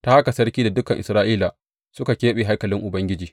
Ta haka sarki da dukan Isra’ilawa suka keɓe haikalin Ubangiji.